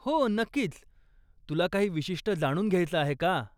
हो, नक्कीच. तुला काही विशिष्ट जाणून घ्यायचं आहे का?